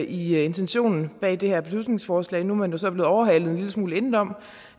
i intentionen bag det her beslutningsforslag nu er man jo så blevet overhalet en lille smule indenom